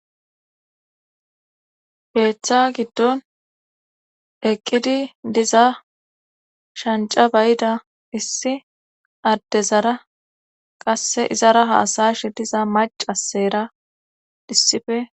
Heeththa giddon eqqidi diza shanca bayida issi addezara qasse izara haasayshe diza mac asseera dhissife.